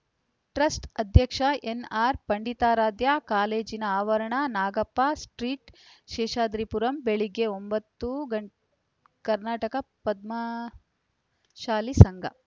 trust ಅಧ್ಯಕ್ಷ ಎನ್‌ಆರ್‌ಪಂಡಿತಾರಾಧ್ಯ ಕಾಲೇಜಿನ ಆವರಣ ನಾಗಪ್ಪ ಸ್ಟ್ರೀಟ್‌ ಶೇಷಾದ್ರಿಪುರ ಬೆಳಗ್ಗೆ ಒಂಬತ್ತು ಗ ಕರ್ನಾಟಕ ಪದ್ಮಶಾಲಿ ಸಂಘ